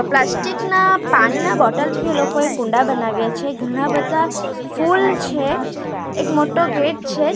Plastic ના પાણીના bottle થી એ લોકોએ કુંડા બનાવ્યા છે ઘણાં બધા ફૂલ છે એક મોટો ગેટ છે.